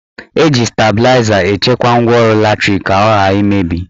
Eji stabịlaịza echekwa ngwaọrụ latrik ka ọ ghara imebi